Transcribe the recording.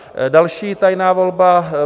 Další tajná volba.